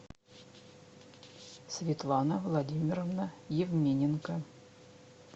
светлана владимировна евмененко